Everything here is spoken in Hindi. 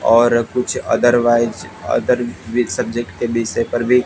और कुछ अदवाइज अदर भी सब्जेक्ट के विषय पर भी--